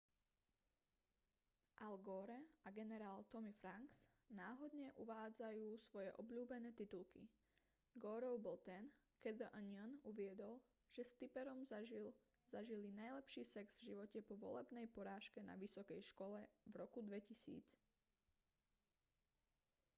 al gore a generál tommy franks náhodne uvádzajú svoje obľúbené titulky goreov bol ten keď the onion uviedol že s tipperom zažili najlepší sex v živote po volebnej porážke na vysokej škole v roku 2000